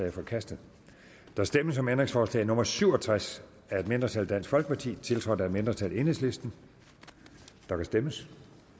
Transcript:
er forkastet der stemmes om ændringsforslag nummer syv og tres af et mindretal tiltrådt af et mindretal der kan stemmes